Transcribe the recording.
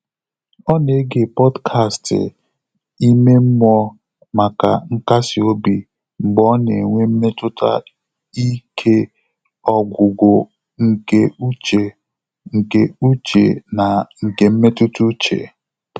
Ọ́ nà-égé pọ́dkástị̀ ímé mmụ́ọ́ màkà nkàsị́ óbí mgbè ọ́ nà-ènwé mmétụ́tà íké ọ́gwụ́gwụ́ nké úchè nké úchè nà nké mmétụ́tà úchè.